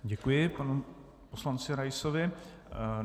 Děkuji panu poslanci Raisovi.